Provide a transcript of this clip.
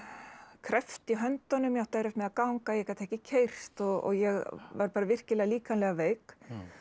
kreppt í höndunum átti erfitt með að ganga ég gat ekki keyrt og ég var bara virkilega líkamlega veik